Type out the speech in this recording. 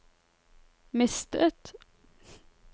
mistet